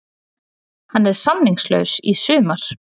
Hann er samningslaus í sumar.